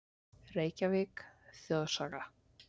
Reykjavík: Þjóðsaga.